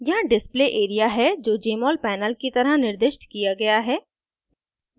यहाँ display area है जो jmol panel की तरह निर्दिष्ट किया गया है